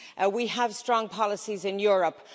We have strong policies in Europe.